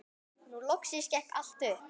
Nú loksins gekk allt upp.